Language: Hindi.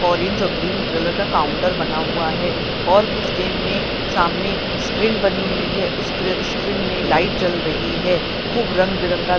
ऑरेंज और ग्रीन कलर का काउंटर बना हुआ है और कुछ गेम में सामने स्क्रीन बनी हुई है उस स्क्रीन में लाइट जल रही है खूब रंग बिरंगा--